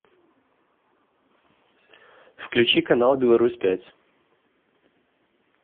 включи канал беларусь пять